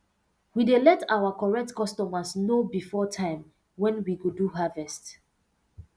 we dey let our correct customers know before time wen we go do harvest